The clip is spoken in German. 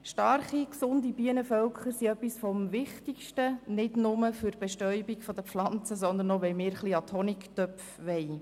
Starke, gesunde Bienenvölker sind sehr wichtig, nicht nur für die Bestäubung der Pflanzen, sondern für uns, damit wir an die Honigtöpfe kommen.